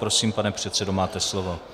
Prosím, pane předsedo, máte slovo.